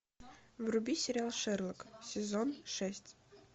вруби сериал шерлок сезон шесть